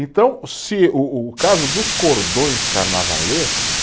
Então, se o o caso dos cordões carnavalesco